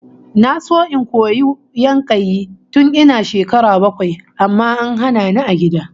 Na so in koyi yankayi tun ina shekara bakwai amma an hana ni a gida